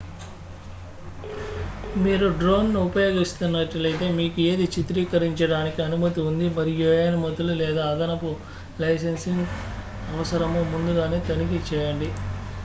మీరు డ్రోన్ను ఉపయోగిస్తున్నట్లయితే మీకు ఏది చిత్రీకరించడానికి అనుమతి ఉంది మరియు ఏ అనుమతులు లేదా అదనపు లైసెన్సింగ్ అవసరమో ముందుగానే తనిఖీ చేయండి